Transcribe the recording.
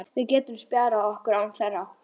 Við getum spjarað okkur án þeirra.